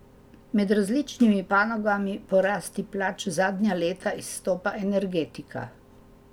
Med različnimi panogami po rasti plač zadnja leta izstopa energetika.